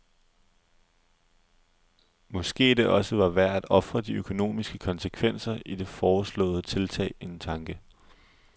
Måske det også var værd at ofre de økonomiske konsekvenser af de foreslåede tiltag en tanke?